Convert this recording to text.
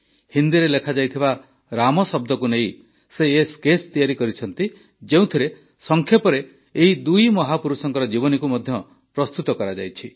ହିନ୍ଦୀରେ ଲେଖାଯାଇଥିବା ରାମ ଶବ୍ଦକୁ ନେଇ ସେ ଏହି ସ୍କେଚ୍ ତିଆରି କରିଛନ୍ତି ଯେଉଁଥିରେ ସଂକ୍ଷେପରେ ଏହି ଦୁଇ ମହାପୁରୁଷଙ୍କ ଜୀବନୀକୁ ମଧ୍ୟ ପ୍ରସ୍ତୁତ କରାଯାଇଛି